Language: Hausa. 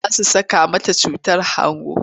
Za su saka musu cutar hangun.